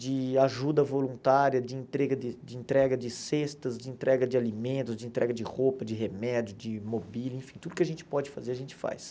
de ajuda voluntária, de entrega de de entrega de cestas, de entrega de alimentos, de entrega de roupa, de remédio, de mobília, enfim, tudo que a gente pode fazer, a gente faz.